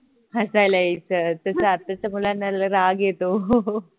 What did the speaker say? हसायला यायचं तस आत्ताच्या मुलांना राग येतो